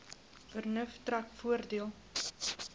vernuf trek voordeel